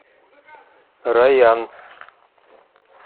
райан